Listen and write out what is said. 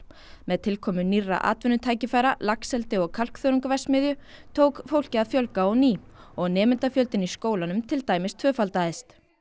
með tilkomu nýrra atvinnutækifæra laxeldi og kalkþörungaverksmiðju tók fólki að fjölga á ný og nemendafjöldinn í skólanum til dæmis tvöfaldaðist